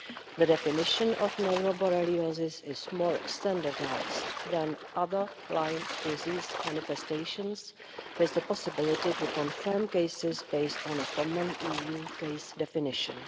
The definition of neuroborreliosis is more standardised than other Lyme disease manifestations, with the possibility to confirm cases based on a common EU case definition.